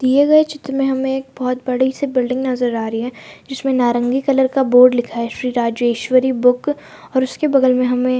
दिए गए चित्र में हमे एक बहुत बड़ी सी बिल्डिंग नजर आ रही है। जिसमें नारंगी कलर का बोर्ड लगा हुआ है। इसे राजेश्वरी बुक और उसके बगल में हमे --